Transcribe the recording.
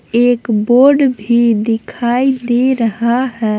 एक बोर्ड भी दिखाई दे रहा है।